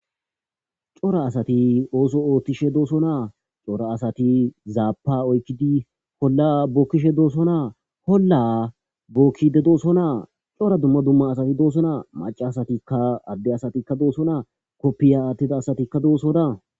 cora asati ooso oothtishe dooso naa cora asati zaapa oykkidi holla bookkishe dooso naa holla bookkide dooso naa cora dumma dumma asati dooso naa maca asatikka agde asatikka dooso naa koppiya aattida asatikka doosona